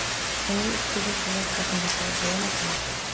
түнгі үште де солай қалжыңдасуға бола ма екен